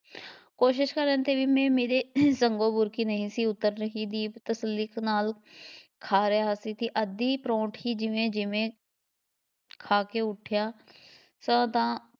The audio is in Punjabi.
ਕੋਸ਼ਿਸ਼ ਕਰਨ ਦੇ ਵੀ ਮੇਰੇ ਸੰਘੋਂ ਬੁਰਕੀ ਵੀ ਨਹੀਂ ਸੀ ਉੱਤਰ ਰਹੀ, ਦੀਪ ਤਸੱਲੀ ਨਾਲ ਖਾ ਰਿਹਾ ਸੀ, ਅੱਧੀ ਪਰਾਉਂਠੀ ਜਿਵੇਂ ਜਿਵੇਂ ਖਾ ਕੇ ਉੱਠਿਆ ਤਾਂ ਦਾ